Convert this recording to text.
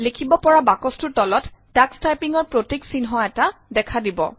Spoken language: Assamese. লিখিব পৰা বাকচটোৰ তলত টাক্স টাইপিঙৰ প্ৰতীক চিহ্ন এটা দেখা দিব